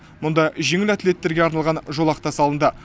мұнда жеңіл атлеттерге арналған жолақ та салынды